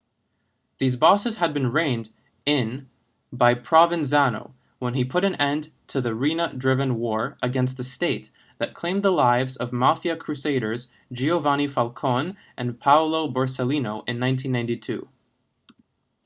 these bosses had been reined in by provenzano when he put an end to the riina-driven war against the state that claimed the lives of mafia crusaders giovanni falcone and paolo borsellino in 1992